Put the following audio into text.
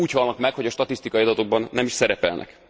Úgy halnak meg, hogy a statisztikai adatokban nem is szerepelnek.